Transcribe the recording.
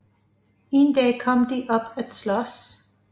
En dag kom de op at slås